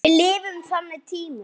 Við lifum á þannig tímum.